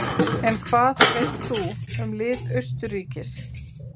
En hvað veist þú um lið Austurríkis?